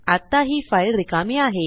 आत्ता ही फाईल रिकामी आहे